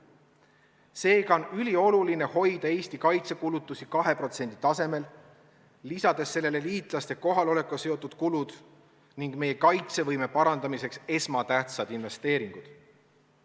Seega on ülioluline hoida Eesti kaitsekulutused 2% tasemel, lisades sellele liitlaste kohalolekuga seotud kulud ning meie kaitsevõime parandamiseks esmatähtsad investeeringud.